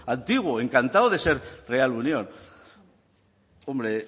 antiguo encantado de ser real unión hombre